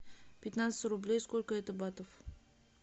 пятнадцать рублей сколько это батов